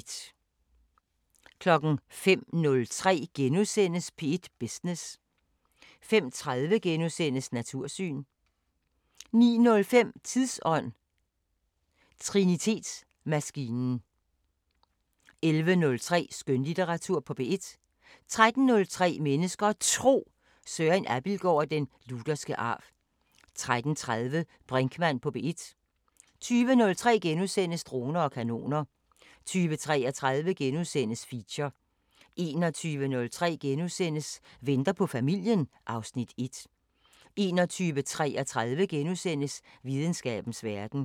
05:03: P1 Business * 05:30: Natursyn * 09:05: Tidsånd: Trinitetsmaskinen 11:03: Skønlitteratur på P1 13:03: Mennesker og Tro: Søren Abildgaard om den lutherske arv 13:30: Brinkmann på P1 20:03: Droner og kanoner * 20:33: Feature * 21:03: Venter på familien (Afs. 1)* 21:33: Videnskabens Verden *